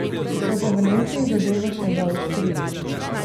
So pa v Nemčiji zadevo še zaostrili.